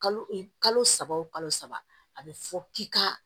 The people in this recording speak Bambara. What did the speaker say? Kalo e kalo saba o kalo saba a bɛ fɔ k'i ka